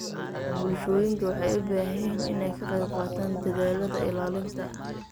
Bulshooyinka waxay u baahan yihiin inay ka qaybqaataan dadaallada ilaalinta.